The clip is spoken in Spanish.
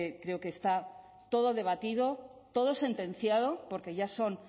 creo que está todo debatido todo sentenciado porque ya son